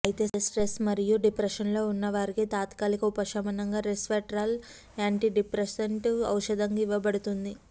అయితే స్ట్రెస్ మరియు డిప్రెషన్లో ఉన్న వారికి తాత్కాలిక ఉపశమనంగా రెస్వెట్రాల్ యాంటిడిప్రెసెంట్ ఔషధంగా ఇవ్వబడుతుంది